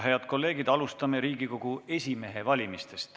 Head kolleegid, alustame Riigikogu esimehe valimist.